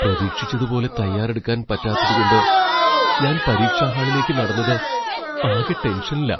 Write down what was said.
പ്രതീക്ഷിച്ചതുപോലെ തയ്യാറെടുക്കാൻ പറ്റാത്തതുകൊണ്ട് ഞാൻ പരീക്ഷാ ഹാളിലേക്ക് നടന്നത് ആകെ ടെൻഷനിലാ.